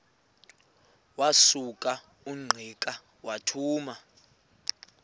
wasuka ungqika wathuma